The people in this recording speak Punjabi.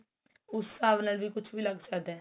ਉਸ ਹਿਸਾਬ ਨਾਲ ਵੀ ਕੁੱਝ ਵੀ ਲੱਗ ਸਕਦਾ